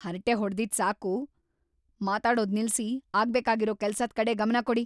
ಹರಟೆ ಹೊಡ್ದಿದ್‌ ಸಾಕು! ಮಾತಾಡೋದ್ ನಿಲ್ಸಿ ಆಗ್ಬೇಕಾಗಿರೋ ಕೆಲ್ಸದ್‌ ಕಡೆ ಗಮನ ಕೊಡಿ!